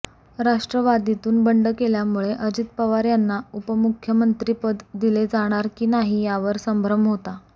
राष्ट्रवादीतून बंड केल्यामुळे अजित पवार यांना उपमुख्यमंत्री पद दिले जाणार की नाही यावर संभ्रम होता